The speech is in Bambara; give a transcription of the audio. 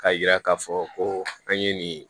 K'a yira k'a fɔ ko an ye nin